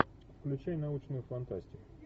включай научную фантастику